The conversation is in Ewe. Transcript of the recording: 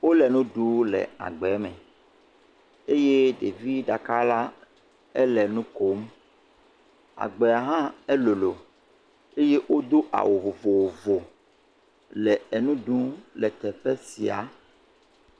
Wole nuɖu le agbe me, eye ɖevi ɖeka la, ele nu kom, agbea hã elolo, eye o do awu vovovo le enu ɖum, le teƒe sia.